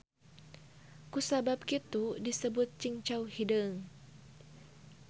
Ku sabab kitu disebut cingcau hideung.